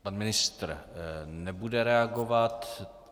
Pan ministr nebude reagovat.